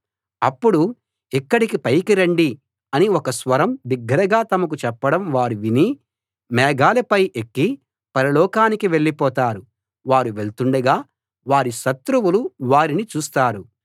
అప్పుడు ఇక్కడికి పైకి రండి అని ఒక స్వరం బిగ్గరగా తమకు చెప్పడం వారు విని మేఘాలపై ఎక్కి పరలోకానికి వెళ్ళిపోతారు వారు వెళ్తుండగా వారి శత్రువులు వారిని చూస్తారు